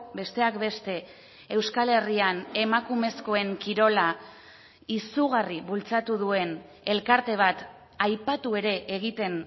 besteak beste euskal herrian emakumezkoen kirola izugarri bultzatu duen elkarte bat aipatu ere egiten